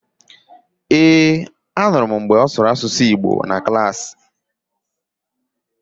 Ee, anụrụ m mgbe ọ sụrụ Asụsụ Igbo na Klaasị